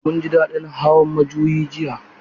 Mun ji daɗin hawan majuyi jiya.